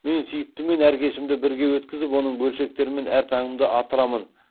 мен сүйіктіммен әр кешімді бірге өткізіп оның бөлшектерімен әр таңымды атырамын